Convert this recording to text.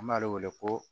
An b'ale wele ko